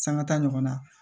Sangata ɲɔgɔn na